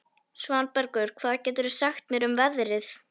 Svanbergur, hvað geturðu sagt mér um veðrið?